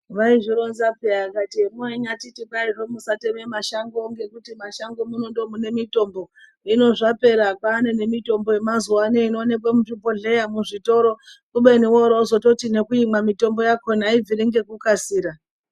Vaizvironza peya akati mwainyatiti kwaizvo musateme mashango ngekuti mashongo muno ndo mune mitombo hino zvapera kwaane nemitombo yemazuano inooneke muzvibhehlera ,muzvitoro kubeni wooro wozototi nekuimwa mitombo yakona haibviri ngekukasira.